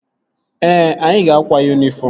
Ee, anyị ga-akwa yunifọm